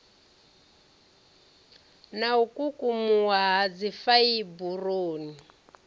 na u kukumuwa ha dzifaiburoni